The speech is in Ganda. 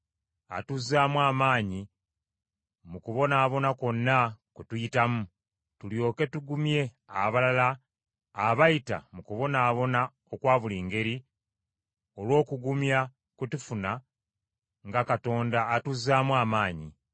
atuzaamu amaanyi mu kubonaabona kwonna kwe tuyitamu, tulyoke tugumye abalala abayita mu kubonaabona okwa buli ngeri, olw’okugumya kwe tufuna nga Katonda atuzaamu amaanyi.